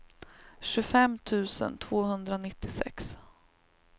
tjugofem tusen tvåhundranittiosex